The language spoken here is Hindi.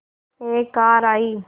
एक कार आई